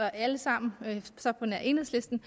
alle sammen på nær enhedslisten